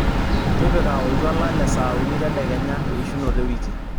tipika oltuala le saa uni tedekenya eishunoto ewiki